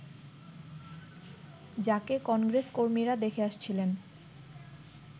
যাকে কংগ্রেসকর্মীরা দেখে আসছিলেন